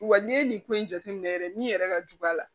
Wa n'i ye nin ko in jateminɛ yɛrɛ min yɛrɛ ka jugu a la